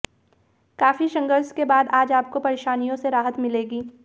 काफी संघर्ष के बाद आज आपको परेशानियों से राहत मिलेगी